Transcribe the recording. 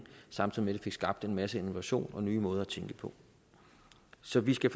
samtidig det fik skabt en masse innovation og nye måder at tænke på så vi skal